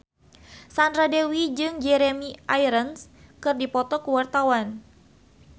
Sandra Dewi jeung Jeremy Irons keur dipoto ku wartawan